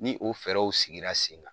Ni o fɛɛrɛw sigira sen kan